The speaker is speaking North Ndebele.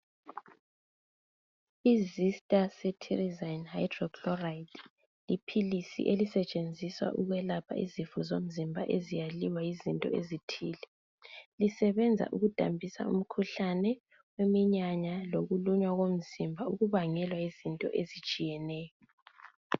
I- Zista Ceterezine Hydrochloride liphilisi elisetshenziswa ukwelapha izifo zomzimba eziyaliwa yizinto ezithile. Lisebenza ukudambisa umkhuhlane, iminyanya lokulunywa komzimba okubangelwa yizinto ezitshiyeneyo.